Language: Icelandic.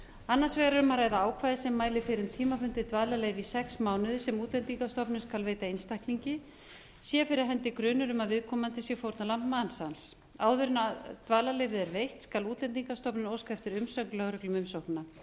annars vegar er um að ræða ákvæði sem mælir fyrir um tímabundið dvalarleyfi í sex mánuði sem útlendingastofnun skal veita einstaklingi sé fyrir hendi grunur um að viðkomandi sé fórnarlamb mansals áður en dvalarleyfið er veitt skal útlendingastofnun óska eftir umsögn lögreglu um umsóknina